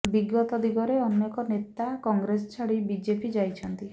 ବିଗତ ଦିନରେ ଅନେକ ନେତା କଂଗ୍ରେସ ଛାଡ଼ି ବିଜେଡି ଯାଇଛନ୍ତି